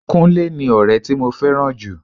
Kúnlé ni ọrẹ tí mo fẹ́ràn jù.